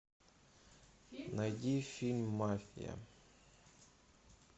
найди фильм мафия